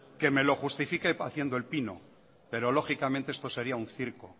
que me lo justifique haciendo el pino pero lógicamente esto sería un circo